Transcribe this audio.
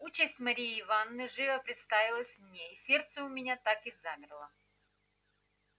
участь марьи ивановны живо представилась мне и сердце у меня так и замерло